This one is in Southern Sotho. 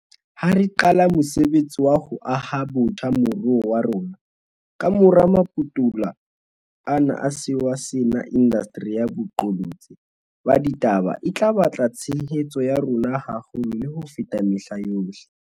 Ha re qala mosebetsi wa ho aha botjha moruo wa rona kamora maputula ana a sewa sena, indasteri ya boqolotsi ba ditaba e tla batla tshehetso ya rona haholo le ho feta mehla yohle.